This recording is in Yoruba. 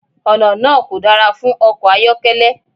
Ọ̀nà náà kò dára fún ọkọ̀ ayọ́kẹ́lẹ́.